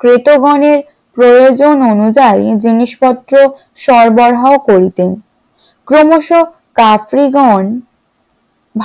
ক্রেতাগণের প্রয়োজন অনুযায়ী জিনিসপত্র সরবরাহ করিতেন ক্রমশ কাপ্রিগন